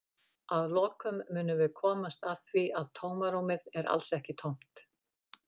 Að lokum munum við komast að því að tómarúmið er alls ekki tómt!